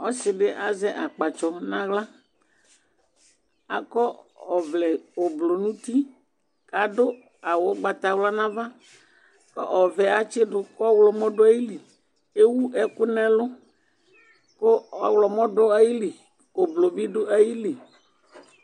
Ɔsidi azɛ akpatsɔ nu aɣla akɔ ɔvlɛ ublu nu uti kadu awu ugbatawla nu ava ɔvɛ atsidu ku ɔɣlomɔ du ayili ewu ɛku nu ɛlu ku ɔɣlomɔ du ayili ku ublu bi du ayili